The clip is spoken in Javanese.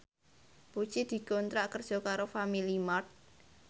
Puji dikontrak kerja karo Family Mart